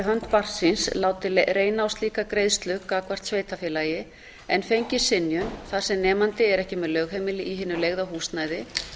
hönd barns síns látið reyna á slíka greiðslu gagnvart sveitarfélagi en fengið synjun þar sem nemandi er ekki með lögheimili í hinu leigða húsnæði